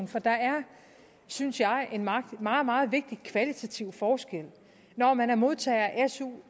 for der er synes jeg en meget meget meget vigtig kvalitativ forskel når man er modtager af su